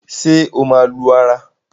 ṣe o má lù ara?